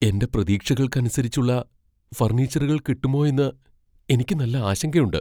എന്റെ പ്രതീക്ഷകൾക്ക് അനുസരിച്ചുള്ള ഫർണിച്ചറുകൾ കിട്ടുമോ എന്ന് എനിക്ക് നല്ല ആശങ്കയുണ്ട്.